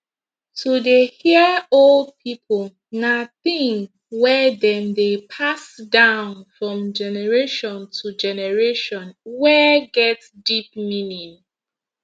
to dey hear old people na thing wey dem dey pass down from generation to generation wey get deep meaning